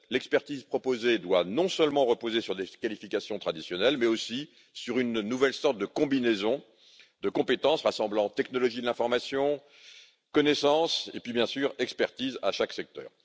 L'expertise proposée doit non seulement reposer sur des qualifications traditionnelles, mais aussi sur une nouvelle sorte de combinaison de compétences rassemblant technologies de l'information, connaissances et, bien sûr, expertise dans chaque secteur.